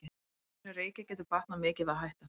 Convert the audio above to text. Þeim sem reykja getur batnað mikið við að hætta.